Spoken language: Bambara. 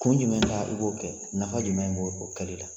Kun jumɛn da i b'o kɛ ? Nafa jumɛn b'o o kɛlɛli la ?